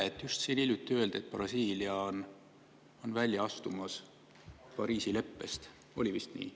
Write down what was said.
Siin just hiljuti öeldi, et Brasiilia on välja astumas Pariisi leppest, oli vist nii.